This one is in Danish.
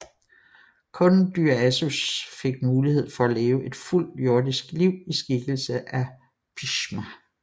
Kun Dyaus fik mulighed for at leve et fuldt jordisk liv i skikkelse af Bhishma